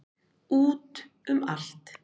Út um allt.